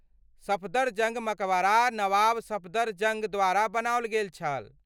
सफदरजंग मकबरा नवाब सफदरजंग द्वारा बनायल गेल छल।